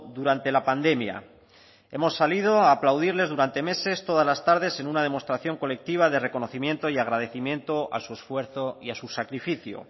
durante la pandemia hemos salido a aplaudirles durante meses todas las tardes en una demostración colectiva de reconocimiento y agradecimiento a su esfuerzo y a su sacrificio